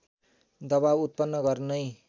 दबाव उत्पन्न गर्नै